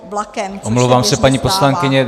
Omlouvám se, paní poslankyně.